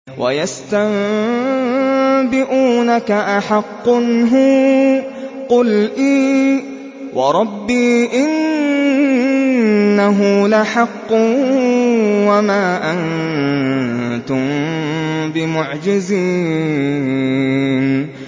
۞ وَيَسْتَنبِئُونَكَ أَحَقٌّ هُوَ ۖ قُلْ إِي وَرَبِّي إِنَّهُ لَحَقٌّ ۖ وَمَا أَنتُم بِمُعْجِزِينَ